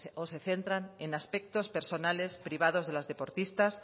o se centran en aspectos personales privados de las deportistas